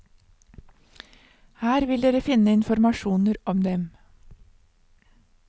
Her vil dere finne informasjoner om dem.